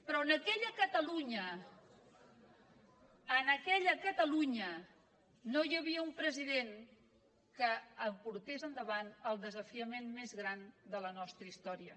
però en aquella catalunya en aquella catalunya no hi havia un president que portés endavant el desafiament més gran de la nostra història